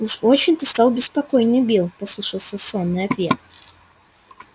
уж очень ты стал беспокойный билл послышался сонный ответ